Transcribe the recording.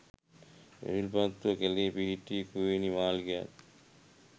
විල්පත්තු කැලේ පිහිටි කුවේණී මාලිගයත්